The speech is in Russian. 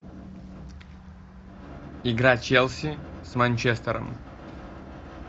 игра челси с манчестером